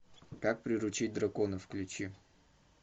как приручить дракона включи